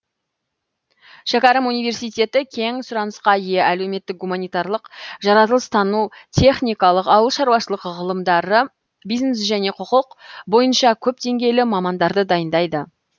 шәкәрім университеті кең сұранысқа ие әлеуметтік гуманитарлық жаратылыстану техникалық ауыл шаруашылық ғылымдары бизнес және құқық бойынша көп деңгейлі мамандарды дайындайды